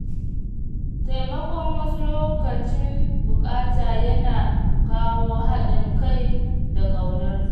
Taimakon wasu lokacin buƙata yana kawo haɗin kai da ƙaunar juna.